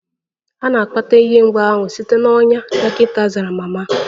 A na-akpata ihe mgbu ahụ site na ọnya, dọkịta zara mama.